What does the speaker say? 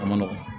A ma nɔgɔn